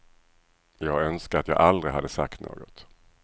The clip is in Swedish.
Jag önskar att jag aldrig hade sagt något.